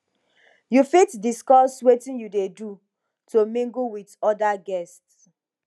you fit discuss witin you dey do to mingle with di oda guests